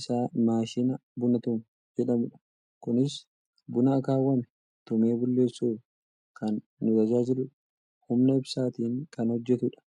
isaa maashina buna tumu jedhamudha. kunis buna akkaawwame tumee bulleessuuf kan nu tajaajiludha. humna ibsaatiin kan hojjatudha.